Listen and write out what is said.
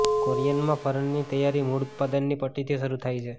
કોરિયનમાં ફર્નની તૈયારી મૂળ ઉત્પાદનની પટ્ટીથી શરૂ થાય છે